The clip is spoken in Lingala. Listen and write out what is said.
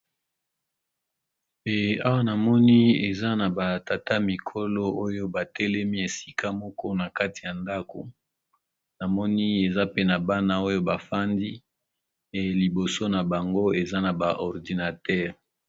Eh Awa namoni eza ba tata mikolo ba telemi Esika n'a ndako libido n'a Bango eza ba ordinateur